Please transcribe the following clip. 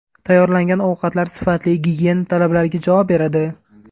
Tayyorlangan ovqatlar sifatli, gigiyena talablariga javob beradi.